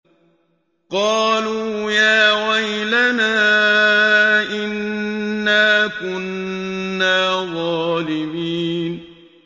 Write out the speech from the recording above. قَالُوا يَا وَيْلَنَا إِنَّا كُنَّا ظَالِمِينَ